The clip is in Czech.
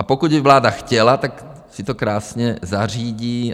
A pokud by vláda chtěla, tak si to krásně zařídí.